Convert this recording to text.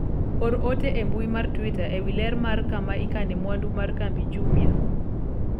or ote e mbui mar twita ewi ler mar kama ikane mwandu mar kambi Jumia